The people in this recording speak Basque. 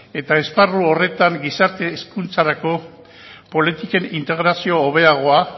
eta esparru horretan gizarte hezkuntzarako politiken integrazio hobeagoa